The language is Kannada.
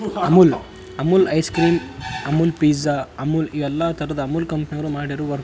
Amul ice cream Amul pizza Amul ಎಲ್ಲ ತರದ ಅಮೂಲ್ ಕಂಪನಿಯವರು ಮಾಡಿರುವ.